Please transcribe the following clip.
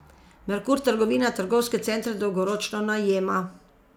Merkur trgovina trgovske centre dolgoročno najema.